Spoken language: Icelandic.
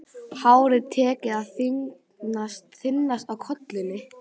Hárið tekið að þynnast á kollinum.